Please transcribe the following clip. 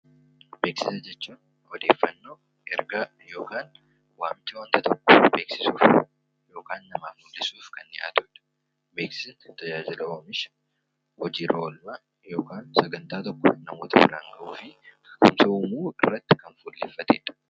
Jechuun odeeffannoo, ergaa yookaan waamicha waanta tokko beeksisuu yookaan namaaf ibsuudhaaf kan Beeksisa tajaajila oomisha hojii irra oolmaa sagantaa tokko yookaan hojii uumuu irratti kan fuullefatedha.